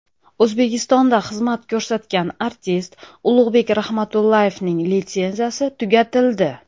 O‘zbekistonda xizmat ko‘rsatgan artist Ulug‘bek Rahmatullayevning litsenziyasi tugatildi.